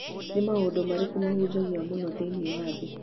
nĩ maũndũ marĩkũ mahunjagio mũno thĩinĩ wa thĩ